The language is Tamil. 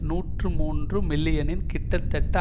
நூற்று மூன்று மில்லியனில் கிட்டத்தட்ட